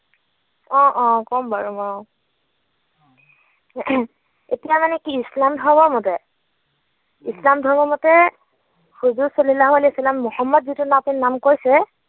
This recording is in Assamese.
অ অ কম বাৰু অ। এতিয়া মানে কি ইছলাম ধৰ্মৰ মতে? ইছলাম ধৰ্মৰ মতে হুজুৰ ছাল্লাল্লাহু ছাল্লাম মোহাম্মদ যিটো নাম কৈছে